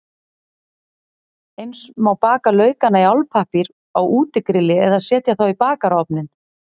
Eins má baka laukana í álpappír á útigrilli eða setja þá í bakarofninn.